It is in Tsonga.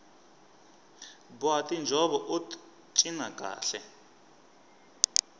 boha tinjhovo ut cina kahle